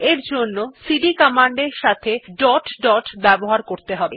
এর জন্য CD command এর সাথে ডট ডট ব্যবহার করতে হবে